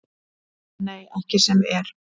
Nei, ekki sem er.